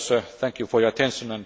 Thank you for your attention.